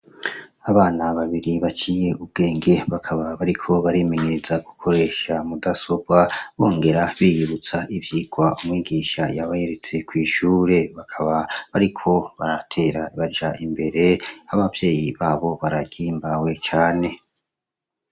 Abana babiri bakiye ubwenge bakaba bariko barimineza gukoresha mudasobwa bongera biyirutsa ivyirwa umwigisha yabayeretse kw'ishure bakaba bariko baratera baja imbere abavyeyi babo baragimbawe cane.